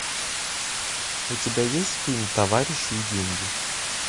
у тебя есть фильм товарищи и деньги